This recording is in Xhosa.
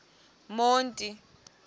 monti